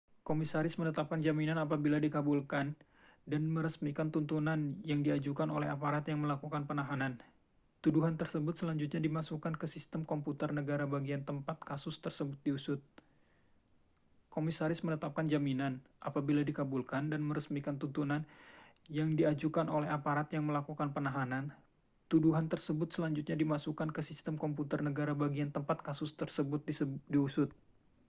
komisaris menetapkan jaminan apabila dikabulkan dan meresmikan tuntutan yang diajukan oleh aparat yang melakukan penahanan tuduhan tersebut selanjutnya dimasukkan ke sistem komputer negara bagian tempat kasus tersebut diusut